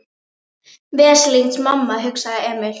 Veslings mamma, hugsaði Emil.